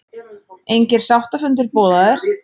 Engir sáttafundir boðaðir